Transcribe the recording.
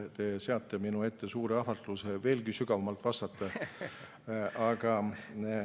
Te seate minu ette suure ahvatluse veelgi sügavamalt vastata.